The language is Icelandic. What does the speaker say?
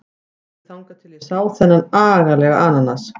Alveg þangað til ég sá þennan agalega ananas.